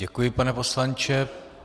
Děkuji, pane poslanče.